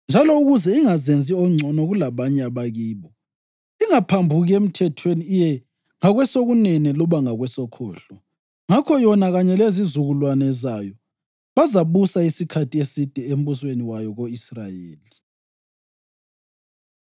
njalo ukuze ingazenzi ongcono kulabanye abakibo, ingaphambuki emthethweni iye ngakwesokunene loba ngakwesokhohlo. Ngakho yona kanye lezizukulwane zayo bazabusa isikhathi eside embusweni wayo ko-Israyeli.”